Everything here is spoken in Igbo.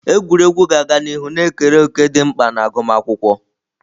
Egwuregwu ga-aga n'ihu na-ekere òkè dị mkpa na agụmakwụkwọ.